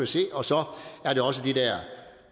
se og så er det også de der